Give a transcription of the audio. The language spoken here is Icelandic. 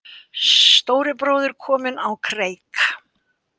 Stóri bróðir kominn á kreik